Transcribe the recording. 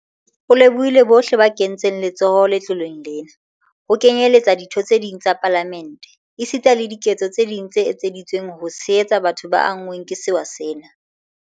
O lebohile bohle ba kentseng letsoho letloleng lena, ho kenyeletswa ditho tse ding tsa Palamente, esita le diketso tse ding tse etseditsweng ho tshehetsa batho ba anngweng ke sewa sena.